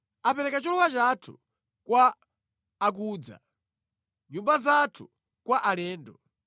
Apereka cholowa chathu kwa obwera, nyumba zathu kwa alendo.